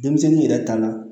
Denmisɛnnin yɛrɛ ta la